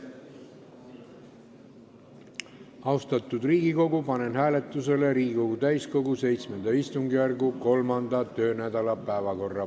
Austatud Riigikogu, panen hääletusele Riigikogu täiskogu VII istungjärgu kolmanda töönädala päevakorra.